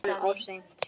En of seint?